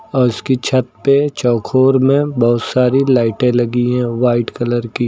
और उसकी छत पे चौकोर में बहोत सारी लाइटे लगी है वाइट कलर की।